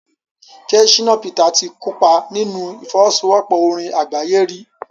jẹ́ Shina Peters ti kópa nínú ìfọwọ́sowọ́pọ̀ orin àgbáyé rí?